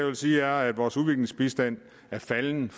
jeg sige at vores udviklingsbistand er faldet